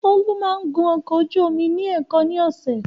Olú máa ń gun ọkọ ojú omi ní èèkan ni ọ̀sẹ̀.